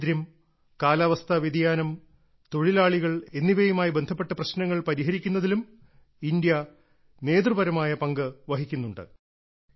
ദാരിദ്ര്യം കാലാവസ്ഥാ വ്യതിയാനം തൊഴിലാളികൾ എന്നിവയുമായി ബന്ധപ്പെട്ട പ്രശ്നങ്ങൾ പരിഹരിക്കുന്നതിലും ഇന്ത്യ നേതൃപരമായ പങ്ക് വഹിക്കുന്നുണ്ട്